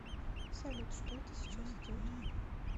салют что это сейчас идет